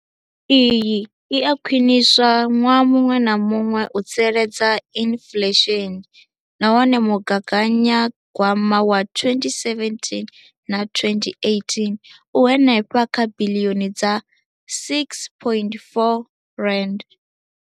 Iyi i a khwiniswa ṅwaha muṅwe na muṅwe u tsireledza inflesheni nahone mugaganyagwama wa 2017,18 u henefha kha biḽioni dza R6.4.